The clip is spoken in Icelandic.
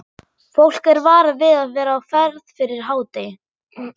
Fólk er varað við að vera á ferð fyrir hádegi.